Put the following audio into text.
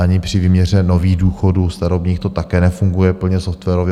Ani při výměře nových důchodů starobních to také nefunguje plně softwarově.